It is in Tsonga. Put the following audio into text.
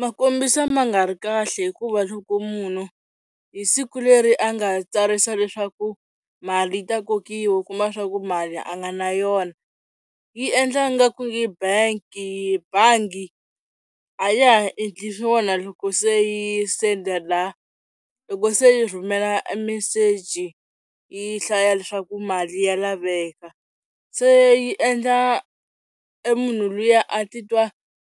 Ma kombisa ma nga ri kahle hikuva loko munhu hi siku leri a nga tsarisa leswaku mali yi ta kokiwa u kuma swa ku mali a nga na yona yi endla nga ku nge benki bangi a ya ha endli swona loko se yi sendela loko se yi rhumela meseji yi hlaya leswaku mali ya laveka se yi endla e munhu luya a titwa